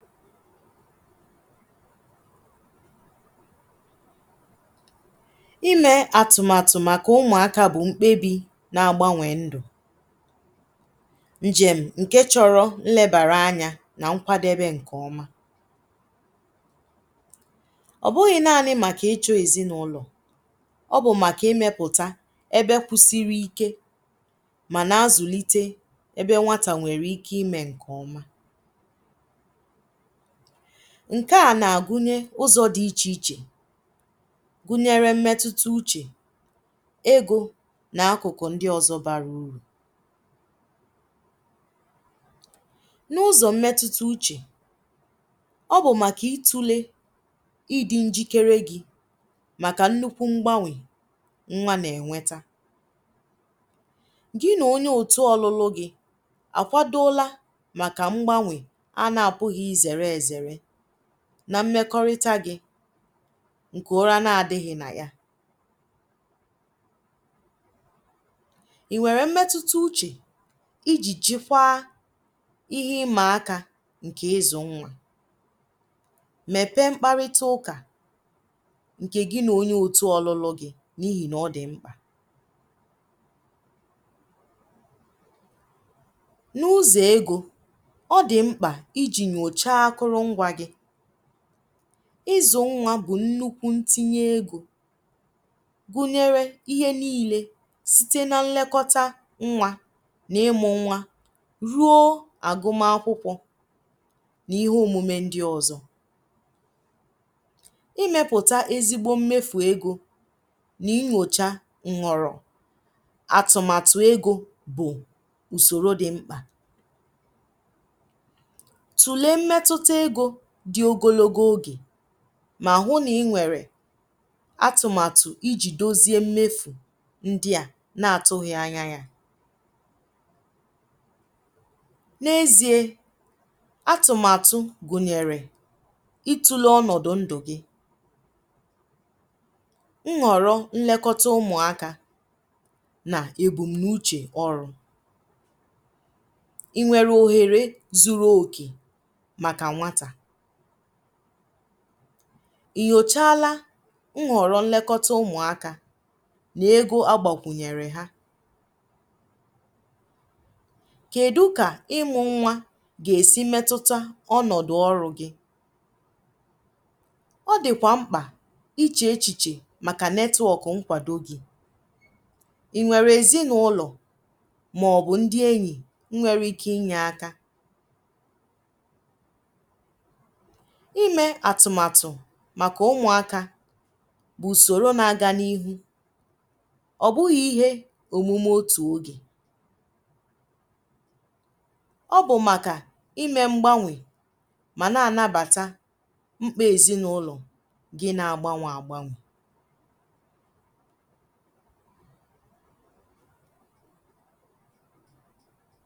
Ịme atụmatụ maka ụmụaka bụ nkpebi na agbanwe ndụ. Njem nke chọrọ nlebara anya na nkwadebe nke ọma. ọbụghi nani maka ịchọ ezinụlọ, ọbụ maka imepụta ebe kwụsiri Ike ma na azulite ebe nwata nwere ike ịme nke ọma. Nke a na agwunye ụzọ di ịche ịche gwunyere mmetuta uche, ego na akụkụ ndi ọzọ bara uru. Na ụzọ mmetute uche ọbụ maka itule ịdị njikere gi maka nnukwu mgbanwe nwa na enweta. Gi na onye otu ọlụlụ gi akwadola maka mgbanwe ana apughi izere ezere na mmekorita gi nke ụra na adighi na ya. i nwere mmetuta uche ịjị chikwa ịhe ị maa aka nke ịzụ nwa. Mepee mkparita ụka nke gi na onye otu ọlụlụ gi n'ihi na ọdị mkpa na ụzọ ego ọdi nkpa ịjị nyocha akolungwa gi. izụ nwa bụ nnukwu ntinye ego agwunyere ịhe nile site na nlekọta nwa na ịmụ nwa ruo agụm akwụkwọ na ịhe omume ndi ọzọ. i mepụta ezigbo mmefu ego na ighocha nghọrọ atụmatụ ego bu usoro di nkpa. Tulee mmetuta ego di ogologo oge ma hụ na nwere atụmatụ ịjị dozie mmefu ndi a na atụghi anya ya. Na ezie atụmatụ gụnyere itule ọnọdụ ndụ gi, nghọrọ nlọkata ụmụaka na ebunauche ọrụ. i nwere oghere zuru oke maka nwata? inyochala nghọrọ nlọkata ụmụaka na ego agbakwunyere ha? Kedụ ka imụ nwa ga esi metuta ọnọdụ ọrụ gi? ọ dịkwa nkpa ịche echiche maka netwok nkwado gi. i nwere ezinụlọ ma ọbụ ndi enyi nwere ike ịnye aka? i mee atụmatụ maka ụmụaka bụ usorona aga n'ihu, ọbụghi ịhe omume otu oge. Ọbụ maka i mee mgbanwe ma na anabata nkpa ezinụlọ gi na agbanwe agbanwe.